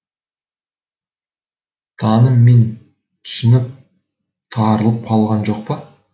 таным мен түсінік тарылып қалған жоқ па